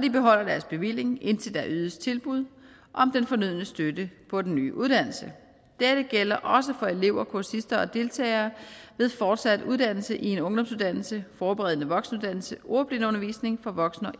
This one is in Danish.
de beholder deres bevilling indtil der ydes tilbud om den fornødne støtte på den nye uddannelse dette gælder også for elever kursister og deltagere ved fortsat uddannelse i en ungdomsuddannelse forberedende voksenuddannelse ordblindeundervisning for voksne og